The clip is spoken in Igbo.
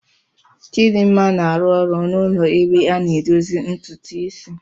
Chidinma na-arụ ọrụ n'ụlọ ebe a na-edozi ntutu isi.